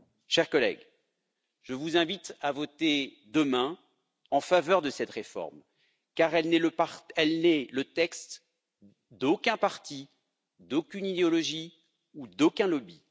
Chers collègues, je vous invite à voter demain en faveur de cette réforme car elle n'est le texte d'aucun parti, d'aucune idéologie ou d'aucun lobby.